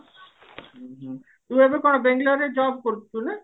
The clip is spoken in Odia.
ଉଁ ହୁଁ ତୁ ଏବେ କଣ ବେଙ୍ଗେଲୋର ରେ job କରୁଛୁ